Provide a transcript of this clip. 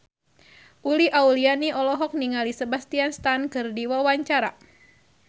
Uli Auliani olohok ningali Sebastian Stan keur diwawancara